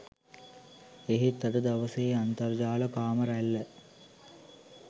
එහෙත් අද දවසේ අන්තර්ජාල කාම රැල්ල